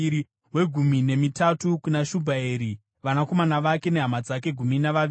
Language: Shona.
wegumi nemitatu kuna Shubhaeri, vanakomana vake nehama dzake—gumi navaviri;